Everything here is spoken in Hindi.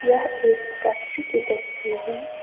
यह एक फैक्ट्री की तस्वीर है।